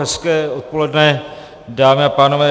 Hezké odpoledne, dámy a pánové.